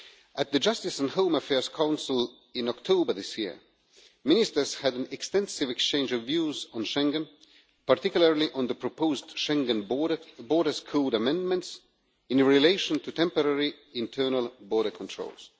At the Justice and Home Affairs Council in October this year, ministers had an extensive exchange of views on Schengen, particularly on the proposed Schengen border, the Borders Code Amendments, in relation to temporary internal border controls.